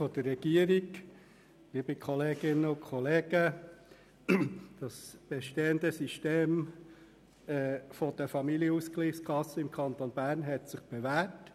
Das bestehende System der Familienausgleichskassen im Kanton Bern hat sich bewährt.